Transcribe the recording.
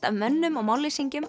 af mönnum og